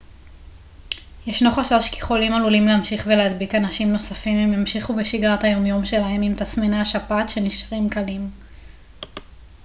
ישנו חשש כי חולים עלולים להמשיך ולהדביק אנשים נוספים אם ימשיכו בשגרת היום יום שלהם אם תסמיני השפעת נשארים קלים